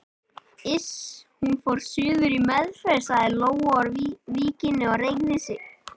Iss, hún fór suður í meðferð sagði Lóa úr Víkinni og reigði sig.